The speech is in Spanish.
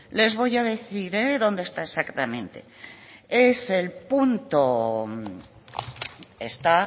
les voy a decir dónde está exactamente está